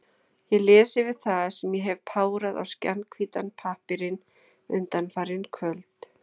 Ég les yfir það, sem ég hef párað á skjannahvítan pappírinn undanfarin kvöld.